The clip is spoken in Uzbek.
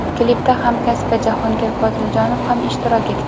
Klipda hamkasbi Jahongir Poziljonov ham ishtirok etgan.